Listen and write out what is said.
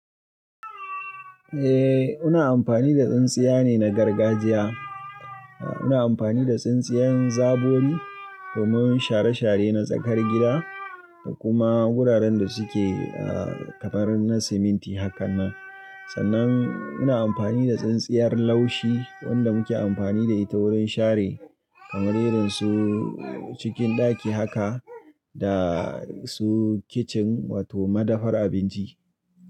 Eh, muna amfani da tsintsiya ne na gargajiya. A muna amfani da tsintsiyen zabori domin share-share na tsakar gida da kuma wuraren da suke ah kamar na cement hakanan. Sannan muna amfani da tsintsiyar laushi wanda muke amfani da ita wurin share kamarerin su cikin ɗaki haka da su kicin wato madafar abinci.